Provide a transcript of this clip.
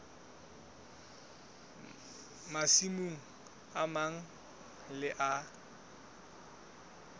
masimo a mang le a